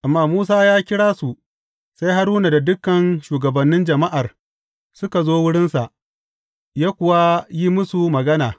Amma Musa ya kira su, sai Haruna da dukan shugabannin jama’ar suka zo wurinsa, ya kuwa yi musu magana.